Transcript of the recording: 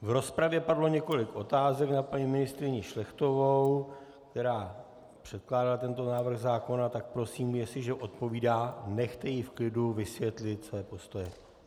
V rozpravě padlo několik otázek na paní ministryni Šlechtovou, která předkládá tento návrh zákona, tak prosím, jestliže odpovídá, nechte ji v klidu vysvětlit své postoje.